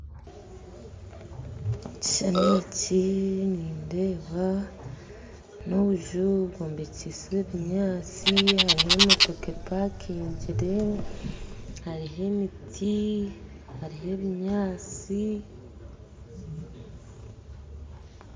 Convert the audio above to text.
Ekishushani eki nindeeba n'obuju bwombekyise ebinyasi hariho emotoka epankingire hariho emiti hariho ebinyasi